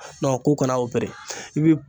Nɔn k'u kana opere i bi